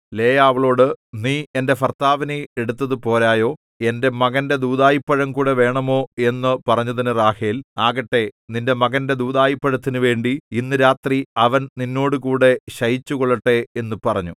ലേയാ അവളോട് നീ എന്റെ ഭർത്താവിനെ എടുത്തതു പോരായോ എന്റെ മകന്റെ ദൂദായിപ്പഴവുംകൂടി വേണമോ എന്നു പറഞ്ഞതിനു റാഹേൽ ആകട്ടെ നിന്റെ മകന്റെ ദൂദായിപ്പഴത്തിനുവേണ്ടി ഇന്ന് രാത്രി അവൻ നിന്നോടുകൂടെ ശയിച്ചുകൊള്ളട്ടെ എന്നു പറഞ്ഞു